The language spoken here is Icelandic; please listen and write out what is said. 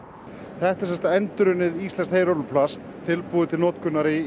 þetta er sem sagt endurunnið íslenskt heyrúlluplast tilbúið til notkunar í